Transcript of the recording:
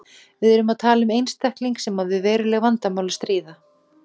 Við erum að tala um einstakling sem á við veruleg vandamál að stríða.